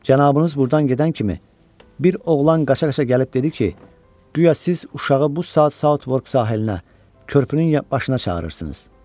Cənabınız burdan gedən kimi, bir oğlan qaça-qaça gəlib dedi ki, guya siz uşağı bu saat Sautvork sahilinə, körpünün başına çağırırsınız.